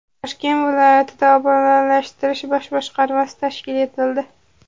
Toshkent viloyatida Obodonlashtirish bosh boshqarmasi tashkil etildi.